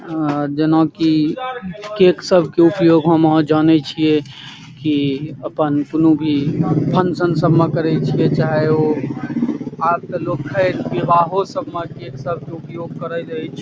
जेना की केक सब के उपयोग हम आहां जाने छीये की अपन कुनु भी फंक्शन सब मे करे छीये चाहे उ आब ते खैर लोग विवाहो सब मे केक सब के उपयोग करे ऐछ ।